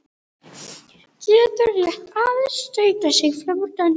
Getur rétt aðeins stautað sig fram úr dönsku.